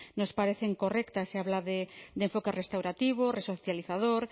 nos parecen correctas se habla de enfoque restaurativo resocializador